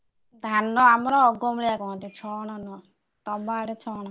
ଧାନ ଆମର ଅଗ ମୁଳିଆ କହନ୍ତି ଛଣ ନୁହ ତମ ଆଡେ ଛଣ କୁହନ୍ତି।